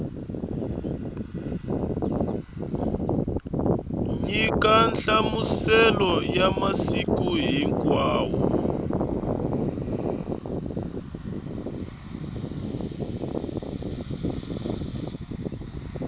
nyika nhlamuselo ya masiku hinkwawo